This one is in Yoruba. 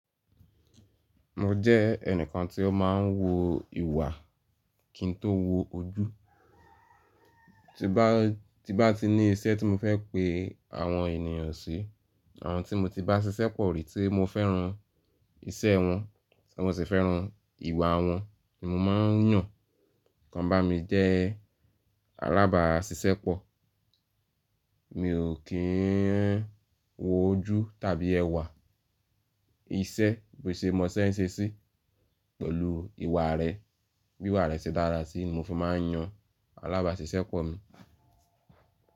Mo jẹ́ ẹnìkan tí ó máa ń wo ìwà kí n tó wo ojú. Ti bá, ti bá ti ní iṣẹ́ tí mo fẹ́ pe àwọn ènìyàn sí, àwọn tí mo ti bá ṣiṣẹ́ pọ̀ rí tí mo fẹ́ran iṣẹ́ wọn, tí mo sì fẹ́ran ìwà wọn ni mo máa ń yàn kan bá mi jẹ́ alábàáṣiṣẹ́ pọ. Mi ò kí ń wo ojú tàbí ẹwà, iṣẹ́ bó ṣe mọ ṣẹ́ ń ṣe sí pẹ̀lú ìwà rẹ, bí ìwà rẹ ṣe dára sí i ni mo fi máa ń yàn alábàáṣiṣẹ́ pọ̀ mi.